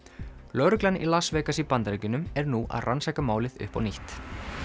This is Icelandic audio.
lögreglan í Las Vegas í Bandaríkjunum er nú að rannsaka málið upp á nýtt